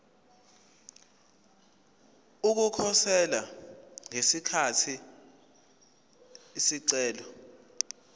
ukukhosela ngesikhathi isicelo